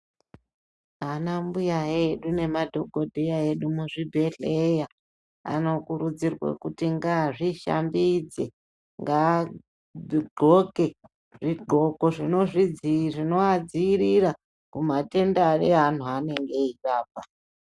Ana mbuya edu nemadhokodheya edu muzvibhedhlera anokurudzirwa kuti ngazvishambidze ngahonke zvigonko zvinovadzivirira mumatenda evannhu vavanenge veirapa.